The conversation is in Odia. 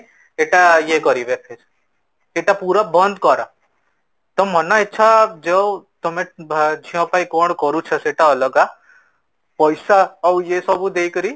ଏଟା ୟେ କରିବେ ଫିର ସେତ ପୁରା ବନ୍ଦ କର ତ ମନଇଚ୍ଛା ଯୋଉ ତମେ ଝିଅ ପାଇଁ କ'ଣ କରୁଛ ସେତ ଅଲଗା ପଇସା ଆଉ ୟେ ସବୁ ଦେଇକରି